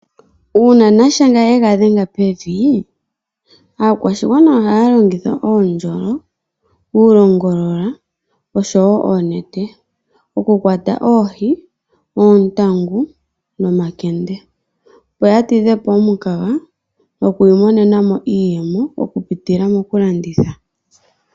Uuna nashenga ye ga dhenga pevi, aakwashigwana ohaya longitha uundjolo, uulongolola noshowo oonete okukwata oohi, oontangu nomakende, opo ya tidhe po omukaga nokuimonena mo iiyemo okupitila mokulanditha.